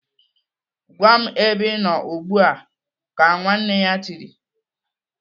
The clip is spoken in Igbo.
"Gwa m ebe Ị nọ ugbu a!" Ka nwanne ya tiri.